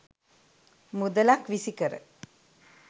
මුදලක් විසිකර